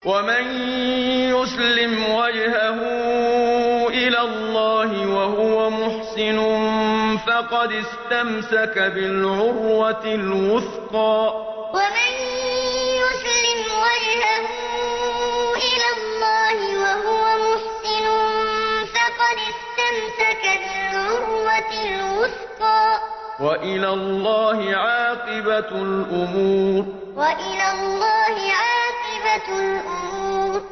۞ وَمَن يُسْلِمْ وَجْهَهُ إِلَى اللَّهِ وَهُوَ مُحْسِنٌ فَقَدِ اسْتَمْسَكَ بِالْعُرْوَةِ الْوُثْقَىٰ ۗ وَإِلَى اللَّهِ عَاقِبَةُ الْأُمُورِ ۞ وَمَن يُسْلِمْ وَجْهَهُ إِلَى اللَّهِ وَهُوَ مُحْسِنٌ فَقَدِ اسْتَمْسَكَ بِالْعُرْوَةِ الْوُثْقَىٰ ۗ وَإِلَى اللَّهِ عَاقِبَةُ الْأُمُورِ